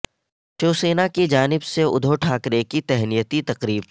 شیوسینا کی جانب سے ادھو ٹھاکرے کی تہنیتی تقریب